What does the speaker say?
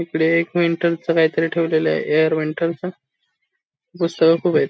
इकडे एक वेंटल च काही तरी ठेवलेल आहे एयर वेंटलच पुस्तक खुपयत.